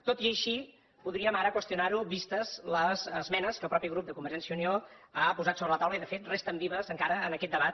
tot i així podríem ara qüestionar ho vistes les esmenes que el mateix grup de convergència i unió ha posat sobre la taula i de fet resten vives encara en aquest debat